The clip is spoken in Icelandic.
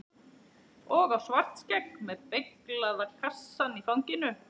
Og á Svartskegg með beyglaða kassann í fanginu.